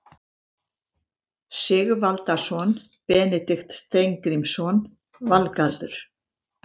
Sigvaldason, Benedikt Steingrímsson, Valgarður